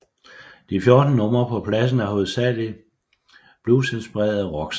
De fjorten numre på pladen er hovedsageligt bluesinspirerede rocksange